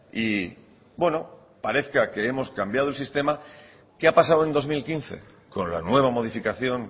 y bueno parezca que hemos cambiado el sistema qué ha pasado en dos mil quince con la nueva modificación